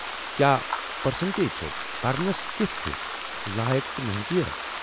کیاہ پرسنٹیج چھَس؟ "پرنس کٮُ۪ت چھُ لایق تہٕ محنتی۔